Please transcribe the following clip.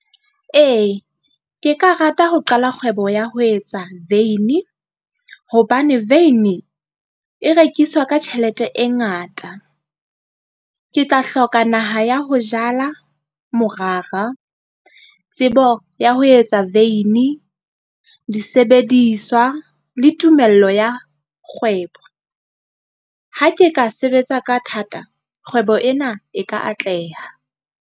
Ee, ke ka rata ho qala kgwebo ya ho etsa veini, hobane veini e rekiswa ka tjhelete e ngata. Ke tla hloka naha ya ho jala morara, tsebo ya ho etsa veini, disebediswa le tumello ya kgwebo. Ha ke ka sebetsa ka thata, kgwebo ena e ka atleha.